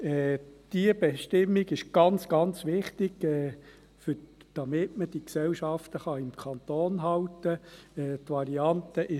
Diese Bestimmung ist ganz, ganz wichtig, damit man die Gesellschaften im Kanton halten kann.